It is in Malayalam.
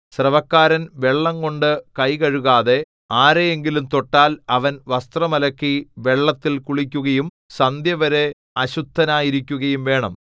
സ്രവക്കാരൻ വെള്ളംകൊണ്ട് കൈകഴുകാതെ ആരെ എങ്കിലും തൊട്ടാൽ അവൻ വസ്ത്രം അലക്കി വെള്ളത്തിൽ കുളിക്കുകയും സന്ധ്യവരെ അശുദ്ധനായിരിക്കുകയും വേണം